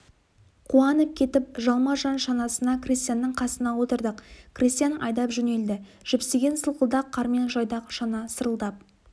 қуанып кетіп жалма-жан шанасына крестьянның қасына отырдық крестьян айдап жөнелді жіпсіген сылқылдақ қармен жайдақ шана сырылдап